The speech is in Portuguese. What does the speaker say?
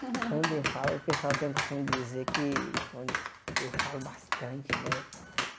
Quando eu falo, o pessoal tem a costume dizer que que eu falo bastante, né?